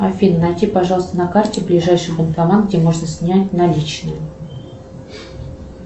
афин найди пожалуйста на карте ближайший банкомат где можно снять наличные